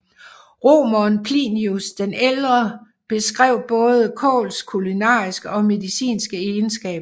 Romeren Plinius den ældre beskrev både kåls kulinariske og medicinske egenskaber